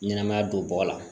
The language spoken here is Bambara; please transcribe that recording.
Ɲɛnɛmaya don bɔgɔ la